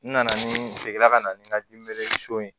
N nana ni n seginna ka na ni n ka so in ye